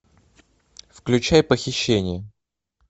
включай похищение